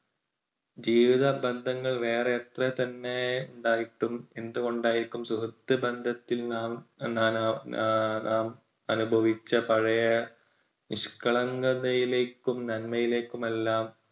ജീവിതബന്ധങ്ങൾ വേറെ എത്ര തന്നെ ഉണ്ടായിട്ടും എന്തുകൊണ്ടായിരിക്കും സുഹൃത്ത് ബന്ധത്തിൽ നാം നാം അനുഭവിച്ച പഴയ നിഷ്കളങ്കതയിലേക്കും നന്മയിലേക്കും എല്ലാം